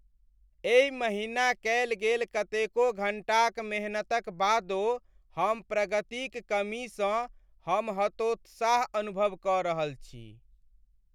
एहि महीना कएल गेल कतेको घन्टाक मेहनतक बादो हम प्रगतिक कमीसँ हम हतोत्साह अनुभव क रहल छी।